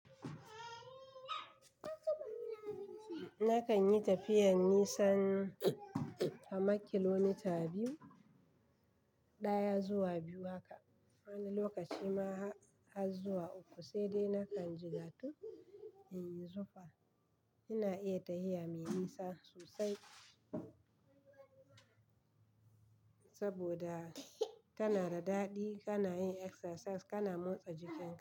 Nakan yi tafiyar nisan na makilomita biyu, ɗaya zuwa biyu haka. Wani lokaci ma har zuwa uku sai dai nakan jigatu in yi zufa. Ina iya ta hiya mai nisa sosai saboda tana da daɗi, kana yin exercise, kana motsa jikin.